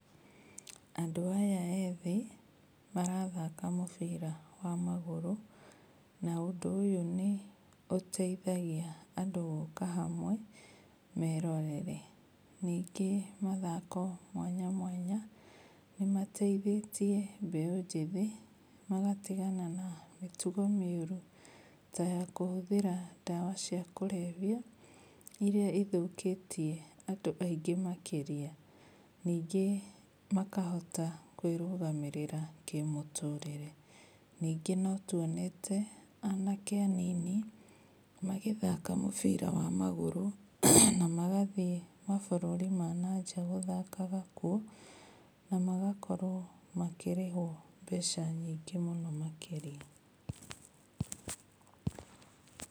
Andũ aya ethi marathaka mũbira wa magũrũ, na ũndũ ũyũ nĩ ũteithagia andũ gũka hamwe merorere. Ningĩ mathako mwanya mwanya, nĩmateithĩtie mbeũ njĩthi magatigana na mĩtugo mĩũrũ, tayakũhũthĩra ndawa cia kũrebia, iria ithũkĩtie andũ aingĩ makĩrĩa. Ningĩ makahota kũĩrũgamĩrĩra kĩmũtũrire. Ningĩ notuonete anake anini magĩthaka mũbira wa magũrũ, na magathiĩ mabũrũri ma nanja gũthakaha kuo, na magakorwo makĩrĩhwo mbeca nyingĩ mũno makĩria.